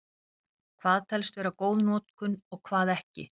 Hvað telst vera góð notkun og hvað ekki?